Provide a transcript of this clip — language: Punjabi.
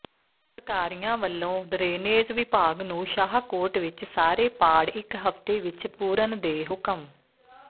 ਸਰਕਾਰੀਆ ਵੱਲੋਂ ਡਰੇਨੇਜ਼ ਵਿਭਾਗ ਨੂੰ ਸ਼ਾਹਕੋਟ ਵਿੱਚ ਸਾਰੇ ਪਾੜ ਇਕ ਹਫ਼ਤੇ ਵਿੱਚ ਪੂਰਨ ਦੇ ਹੁਕਮ